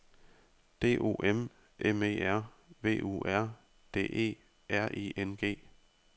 D O M M E R V U R D E R I N G